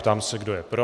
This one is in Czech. Ptám se, kdo je pro?